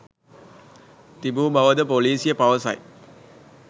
තිබූ බවද පොලිසිය පවසයි.